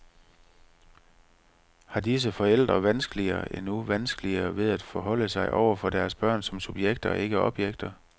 Har disse forældre vanskeligere, endnu vanskeligere, ved at forholde sig over for deres børn som subjekter og ikke objekter.